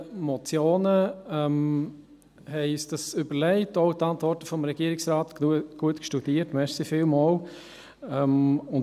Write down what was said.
Wir haben uns dies überlegt und auch die Antworten des Regierungsrates gut angeschaut, vielen Dank.